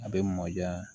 A bɛ mɔ diya